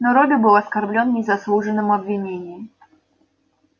но робби был оскорблён незаслуженным обвинением